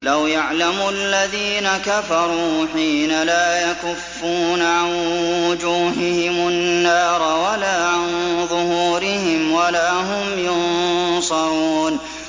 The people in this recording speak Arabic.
لَوْ يَعْلَمُ الَّذِينَ كَفَرُوا حِينَ لَا يَكُفُّونَ عَن وُجُوهِهِمُ النَّارَ وَلَا عَن ظُهُورِهِمْ وَلَا هُمْ يُنصَرُونَ